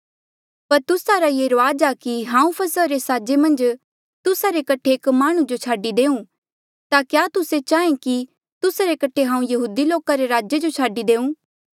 पर तुस्सा रा ये रूआज आ कि हांऊँ फसहा रे साजा मन्झ तुस्सा रे कठे एक माह्णुं जो छाडी देऊँ ता क्या तुस्से चाहें कि तुस्सा रे कठे हांऊँ यहूदी लोका रे राजे जो छाडी देऊँ